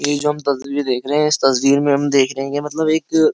ये जो हम तस्वीर देख रहे हैं इस तस्वीर में हम देख रहे हैं कि मतलब एक --